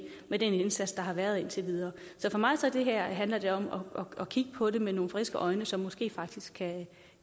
med den indsats der har været indtil videre så for mig handler det her om at kigge på det med nogle friske øjne som måske faktisk